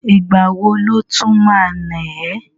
Ìgbà wo ló tún ma ná ẹ́?